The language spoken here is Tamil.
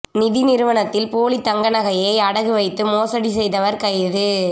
நிதி நிறுவனத்தில் போலி தங்க நகையைஅடகு வைத்து மோசடி செய்தவா் கைது